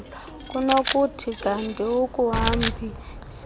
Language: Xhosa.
kunokuthi kanti akuhambiselani